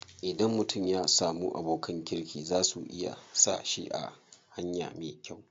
Idan mutum ya samu abokan kirki za su iya sa shi a hanya me kyau.